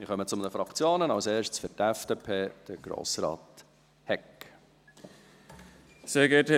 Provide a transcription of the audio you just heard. Wir kommen zu den Fraktionen, zuerst für die FDP, Grossrat Hegg.